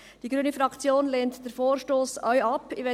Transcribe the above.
Die grüne Fraktion lehnt den Vorstoss auch ab.